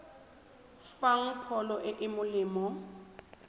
fang pholo e e molemo